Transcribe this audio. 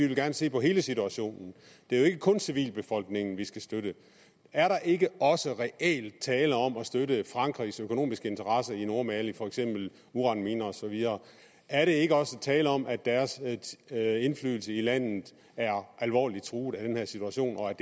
vil se på hele situationen det er jo ikke kun civilbefolkningen vi skal støtte er der ikke også reelt tale om at støtte frankrigs økonomiske interesser i nordmali for eksempel uranminer er der ikke også tale om at deres indflydelse i landet er alvorligt truet af den her situation og at